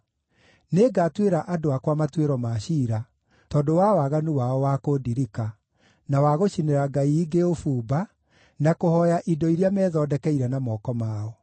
Nĩngatuĩra andũ akwa matuĩro ma ciira, tondũ wa waganu wao wa kũndirika, na wa gũcinĩra ngai ingĩ ũbumba, na kũhooya indo iria methondekeire na moko mao.